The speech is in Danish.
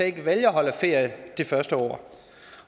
ikke at holde ferie det første år